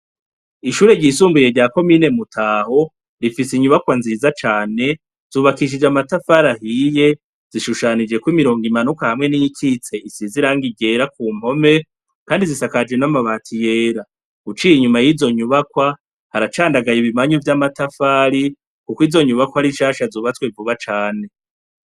Ishure ryisumbuye rya komine Mutaho, rifise inyubakwa nziza cane , zubakishije amatafari ahiye, zishushanijeko imirongo imanuka hamwe niyikitse isize irangi ryera kumpome kandi zisakajwe n'amabati yera. Uciye inyuma yizo nyubakwa, haracandagaye ibimanyu vy'amatafari kuko izo nyubakwa ari nshasha zubatswe vuba cane.